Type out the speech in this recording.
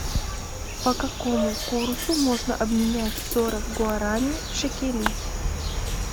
по какому курсу можно обменять сорок гуарани в шекели